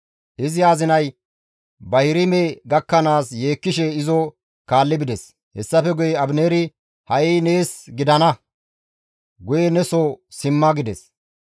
Izi azinay Bahirime gakkanaas yeekkishe izo kaalli bides. Hessafe guye Abineeri, «Ha7i nees gidana! Guye neso simma» gides.